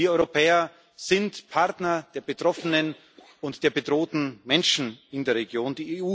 Wir Europäer sind Partner der Betroffenen und der bedrohten Menschen in der Region.